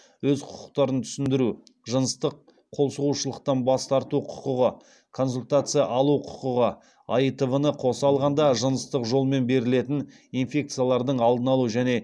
өз құқықтарын түсіндіру жыныстық қолсұғушылықтан бас тарту құқығы консультация алу құқығы аитв ны қоса алғанда жыныстық жолмен берілетін инфекциялардың алдын алу және